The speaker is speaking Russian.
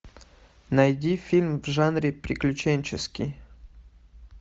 найди фильм в жанре приключенческий